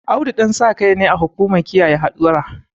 Audu Ɗansakai ne a hukumar kiyaye hadura